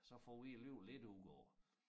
Så får vi alligevel lidt ud af det